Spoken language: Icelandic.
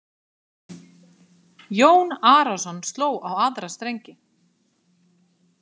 Jón Arason sló á aðra strengi.